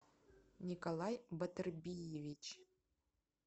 николай батырбиевич